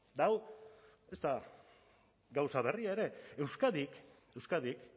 eta hau ez da gauza berria ere euskadik